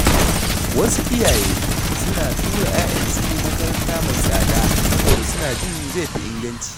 Wasu iyaye suna tura ’ya’yansu makaranta mai tsada saboda suna jin zai fi inganci.